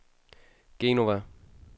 Genova